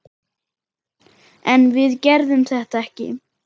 En við gerðum þetta ekki!